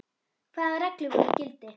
Hvaða reglur voru í gildi?